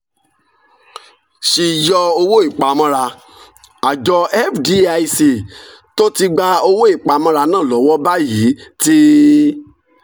ṣíyọ̀ owó ìpamọ́ra: àjọ fdic tó ti gba owó ìpamọ́ra náà lọ́wọ́ báyìí ti